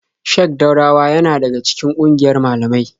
Sheik Daurawa yana daga cikin ƙungiyar malamai.